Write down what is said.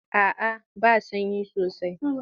A'a ba sanyi sosai.